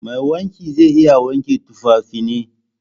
Mai wanki zai iya wanke tufafina?